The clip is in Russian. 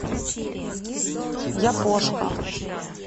япошка